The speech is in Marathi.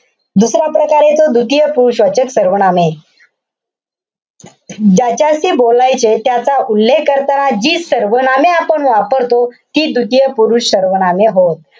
दुसरा प्रकार येतो, द्वितीय पुरुषवाचक सर्वनामे. ज्याच्याशी बोलायचे त्याचा उल्लेख करताना जी सर्वनामे आपण वापरतो. ती द्वितीय पुरुषवाचक सर्वनामे होत.